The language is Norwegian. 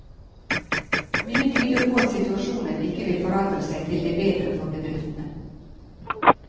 Mye tyder på at situasjonen ikke vil forandre seg til det bedre for bedriftene.